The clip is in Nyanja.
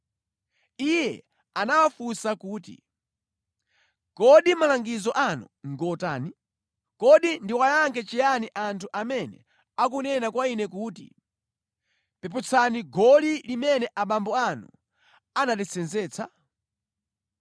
Iye anawafunsa kuti, “Kodi malangizo anu ngotani? Kodi ndiwayankhe chiyani anthu amene akunena kwa ine kuti, ‘Peputsani goli limene abambo anu anatisenzetsa’?”